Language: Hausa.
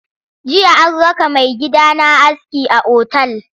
Jiya an raka maigidana aski a otal.